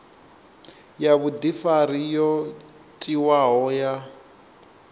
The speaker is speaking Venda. ya vhudifari yo tiwaho ya